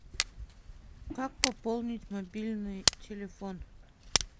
как пополнить мобильный телефон